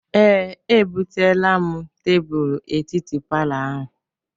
Ee, ebuteela m tebulu etiti palọ ahụ.